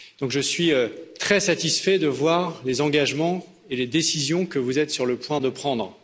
Donc, je suis très satisfait de voir les engagements et les décisions que vous êtes sur le point de prendre.